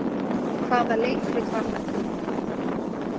Hvaða leikrit var þetta?